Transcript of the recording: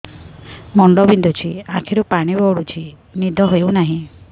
ମୁଣ୍ଡ ବିନ୍ଧୁଛି ଆଖିରୁ ପାଣି ଗଡୁଛି ନିଦ ହେଉନାହିଁ